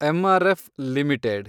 MRF limited